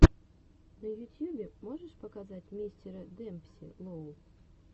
на ютьюбе можешь показать мистера демпси лоу